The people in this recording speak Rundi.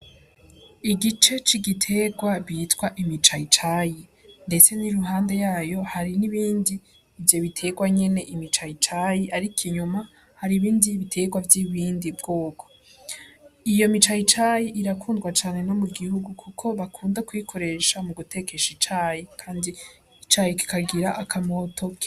Igice c'igiterwa bitwa imicayicayi, ndetse n'i ruhande yayo hari n'ibindi ivyo biterwa nyene imicayicayi, ariko inyuma hari ibindi biterwa vy'ibindi bwoko iyo micayicayi irakundwa cane no mu gihugu, kuko bakunda kwikoresha mu gutekesha icayi, kandi icayi kikagira akamoto.